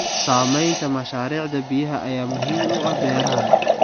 Samaynta mashaariicda biyaha ayaa muhiim u ah beeraha.